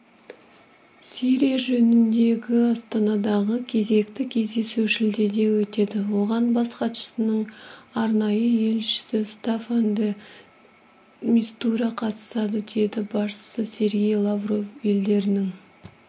сирия жөніндегі астанадағы кезекті кездесу шілдеде өтеді оған бас хатшысының арнайы елшісі стаффан де мистура қатысады деді басшысы сергей лавров елдерінің